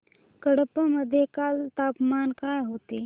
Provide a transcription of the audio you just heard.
कडप्पा मध्ये काल तापमान काय होते